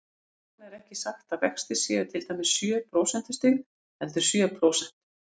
Þess vegna er ekki sagt að vextir séu til dæmis sjö prósentustig, heldur sjö prósent.